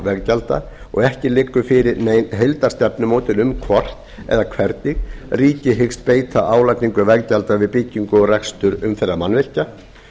veggjalds og ekki liggur fyrir nein heildarstefnumótun um hvort eða hvernig ríkið hyggst beita álagningu veggjalda við byggingu og rekstur umferðarmannvirkja